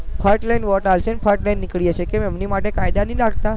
ફટ લઈને વોટ આપશે અને ફટ લઇ ન નીકળી જશે કેમ એમની માટે કાયદા નહીં લગતા